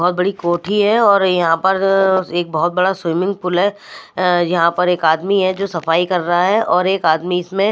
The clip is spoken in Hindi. बहुत बड़ी कोठी है और यहां पर एक बहुत बड़ा स्विमिंग पूल है अह यहां पर एक आदमी है जो सफाई कर रहा है और एक आदमी इसमें--